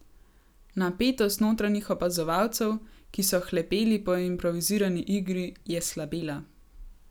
Napetost notranjih opazovalcev, ki so hlepeli po improvizirani igri, je slabela.